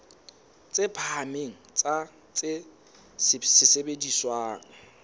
tse phahameng tsa tse sebediswang